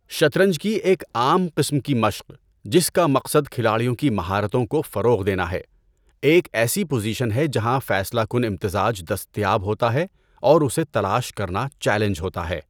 شطرنج کی ایک عام قسم کی مشق، جس کا مقصد کھلاڑیوں کی مہارتوں کو فروغ دینا ہے، ایک ایسی پوزیشن ہے جہاں فیصلہ کن امتزاج دستیاب ہوتا ہے اور اسے تلاش کرنا چیلنج ہوتا ہے۔